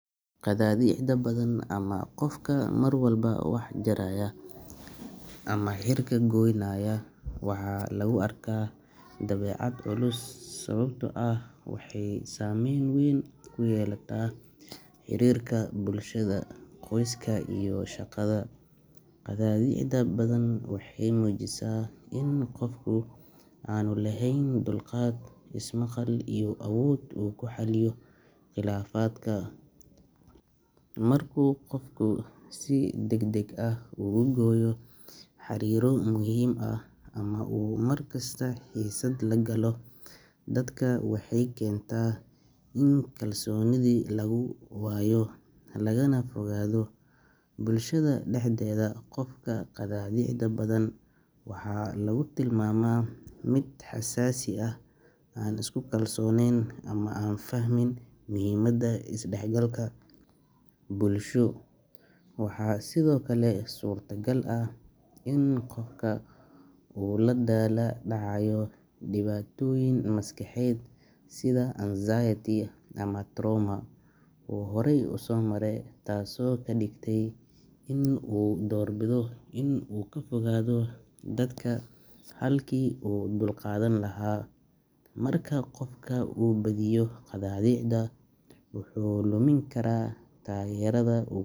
Timo xiirka dhaqameed ee gabadha waxaa uu leeyahay muhimad dhaqan, bulsho iyo dareen isku xirnaan ah. Dhaqanka Soomaaliyeed iyo qaar kale oo Afrikaan ah, waxaa timo xiirka gabadha loo arkaa astaan muujinaysa bilow cusub, nadaafad iyo ixtiraam loo hayo marxaladaha kala duwan ee nolosha, sida marka ay gaarto qaan gaar. Gabadha marka la xiirayo timaha si dhaqameed ah, waxaa la raacaa xeerar iyo habab gaar ah oo laga dhaxlay awoowayaal, kuwaas oo lagu muujiyo sharaf, xushmad iyo diyaar garow nololeed. Waxaa kale oo laga yaabaa in timo xiirka uu la xiriiro munaasabad gaar ah sida aroos, dhalasho ama guurista gabadha gurigeedii hore. Inta badan waxaa lagu sameeyaa alaab dhaqameed sida razor ama blade si nadaafad ah loogu sameeyo, waxaana muhiim ah in laga taxadaro fayadhowrka si aysan khatar caafimaad u imaan. Timo xiirka noocan ah wuxuu sidoo kale siinayaa gabadha dareen isbeddel ah, kalsooni iyo xiriir qoto dheer oo ay la leedahay.